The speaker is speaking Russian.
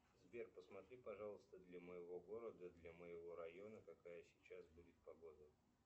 сбер посмотри пожалуйста для моего города для моего района какая сейчас будет погода